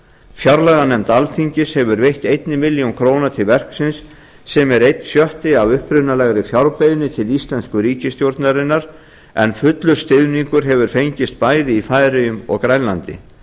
fjárlaganefnd alþingis hefur veitt einni milljón króna til verksins sem er einn sjötti af upprunalegri fjárbeiðni til íslensku ríkisstjórnarinnar en fullur stuðningur hefur fengist bæði í færeyjum og grænlandi